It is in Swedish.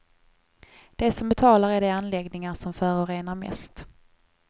De som betalar är de anläggningar som förorenar mest.